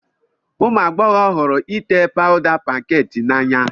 Ụmụ agbọghọ hụrụ ite pawda pankeeki n'anya